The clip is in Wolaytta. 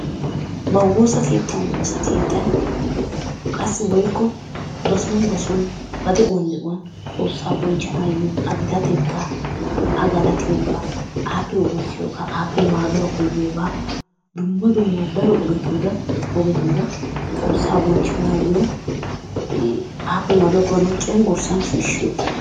Ba wosakettan wossakettan qassi woykko ba soon ba soon ba de'uwan de'uwan xossaa bonchanayo a gittaatetta,a galattiyoga,a wosiyoga appe maduwaa koyiogaa dumma dumma daro ogetura xossaa bonchanayoo appe maduwa koyanawu cengurssan shishiyooga.